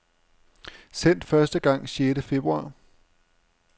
Sendt første gang sjette februar.